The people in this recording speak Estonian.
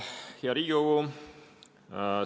Hea Riigikogu!